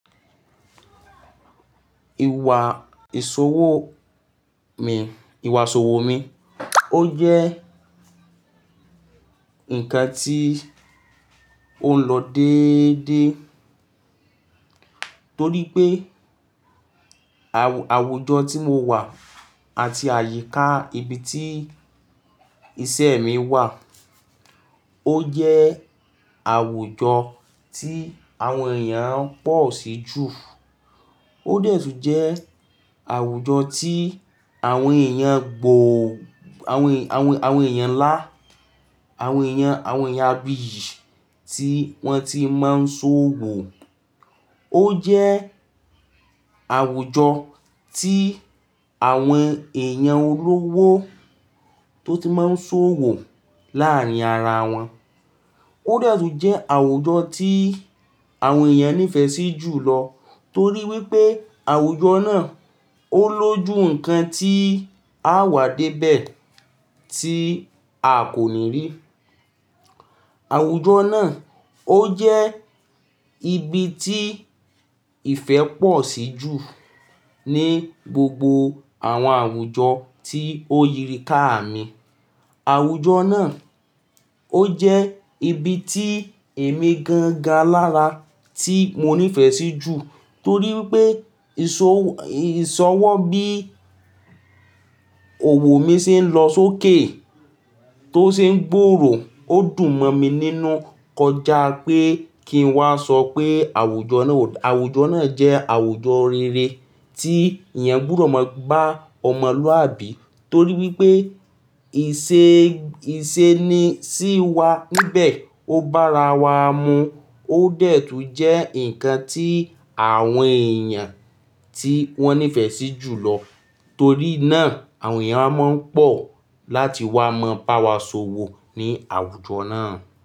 Ìwà ìṣòwò mi, ìwà ìṣòwò mi, ó jẹ́ ǹkan tí ó ń lọ déédéé torí pé àwùjọ tí mo wà àti àyíká ibi tí iṣẹ́ mi wà, ó jẹ́ àwùjọ tí àwọn èèyàn pọ̀ sí jù. Ó detú n jẹ́ àwùjọ tí àwọn èèyàn gbòò, àwọn èèyàn ńlá, àwọn èèyàn, àwọn èèyàn bìí tí wọ́n ti máa ń ṣòwò. Ó jẹ́ àwùjọ tí àwọn èèyàn olówó tó ti máa ń ṣòwò láàárín ara wọn. Ó detú n jẹ́ àwùjọ tí àwọn èèyàn nífẹ̀ẹ́ sí jùlọ torí wípé àwùjọ náà ó lójú ǹkan tí a wà dé bẹ̀ tí a kò ní rí. Àwùjọ náà ó jẹ́ ibi tí ìfẹ́ pọ̀ sí jù ní gbogbo àwọn àwùjọ tí ó rì ká mi. Àwùjọ náà ó jẹ́ ibi tí èmi gangan à lára tí mo nífẹ̀ẹ́ sí jù torí wípé ìsọwọ́ bí òwò mi ṣe ń lọ sókè tó ṣe ń gbòòrò ó dùn mọ́ mi nínú kọjá pé kí n wá sọ pé àwùjọ náà jẹ́ àwùjọ rere tí èèyàn gbúdọ̀ máa ba ọmọlúàbí torí wípé ìṣeni sí wa níbẹ̀ ó bá ara wa mu. Ó detú n jẹ́ ǹkan tí àwọn èèyàn tí wọ́n nífẹ̀ẹ́ sí jùlọ torí náà àwọn èèyàn máa ń pọ̀ láti wá mọ bá wa ṣòwò ní àwùjọ náà.